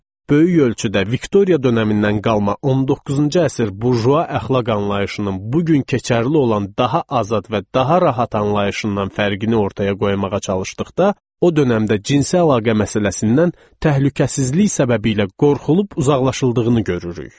Böyük ölçüdə Viktoriya dönəmindən qalma 19-cu əsr burjua əxlaq anlayışının bu gün keçərli olan daha azad və daha rahat anlayışından fərqini ortaya qoymağa çalışdıqda, o dövrdə cinsi əlaqə məsələsindən təhlükəsizlik səbəbilə qorxulub uzaqlaşıldığını görürük.